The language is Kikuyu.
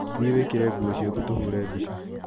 Thiĩ wĩkĩre nguo ciaku tũhũre mbica.